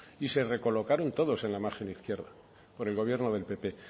y se recolocaron todos en la margen izquierda por el gobierno del pp